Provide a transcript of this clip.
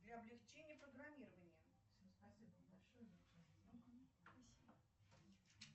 для облегчения программирования